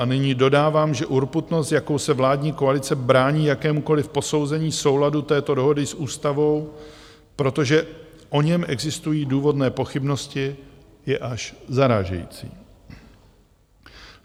A nyní dodávám, že urputnost, jakou se vládní koalice brání jakémukoliv posouzení souladu této dohody s ústavou, protože o něm existují důvodné pochybnosti, je až zarážející.